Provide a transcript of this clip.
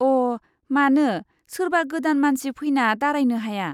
अ, मानो सोरबा गोदान मानसि फैना दारायनो हाया?